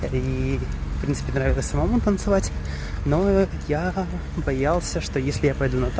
в принципе нравилось танцевать но я боялся что если я